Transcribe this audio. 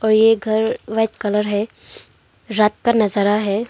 और ये घर व्हाइट कलर है रात का नजारा है।